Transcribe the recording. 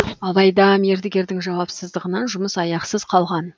алайда мердігердің жауапсыздығынан жұмыс аяқсыз қалған